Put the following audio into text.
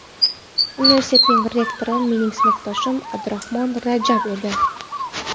Universitetning rektori mening sinfdoshim Abdurahmon Rajab edi.